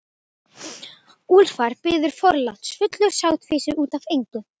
Úlfar biður forláts, fullur sáttfýsi út af engu.